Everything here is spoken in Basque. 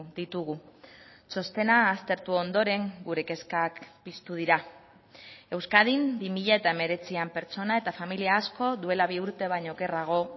ditugu txostena aztertu ondoren gure kezkak piztu dira euskadin bi mila hemeretzian pertsona eta familia asko duela bi urte baino okerrago